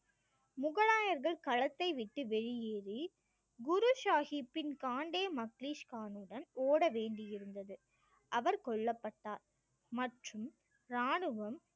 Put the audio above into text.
முகலாயர்கள் களத்தை விட்டு வெளியேறி குரு சாஹிப்பின் காண்டே மக்லிஷ் கானுடன் ஓட வேண்டியிருந்தது அவர் கொல்லப்பட்டார் மற்றும் ராணுவம்